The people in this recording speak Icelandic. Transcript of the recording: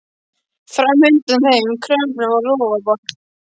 Fram undan þeim við fjörukambinn var rofabarð.